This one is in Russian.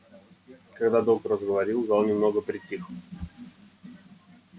когда доктор заговорил зал немного притих